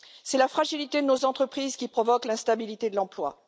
C'est la fragilité de nos entreprises qui provoque l'instabilité de l'emploi.